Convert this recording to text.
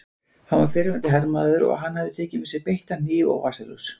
Hann var fyrrverandi hermaður og hann hafði tekið með sér beittan hníf og vasaljós.